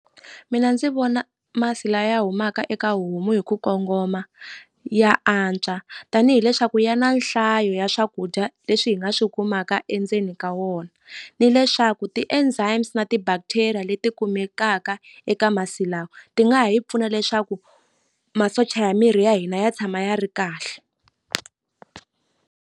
Mina ndzi vona masi la ya humaka eka homu hi ku kongoma ya antswa tanihi leswaku ya na nhlayo ya swakudya leswi hi nga swi kumaka endzeni ka wona ni leswaku ti-enzymes na ti bacteria leti kumekaka eka masi lawa ti nga ha yi pfuna leswaku masocha ya miri ya hina ya tshama ya ri kahle.